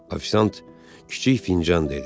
Ofisiant kiçik fincan dedi.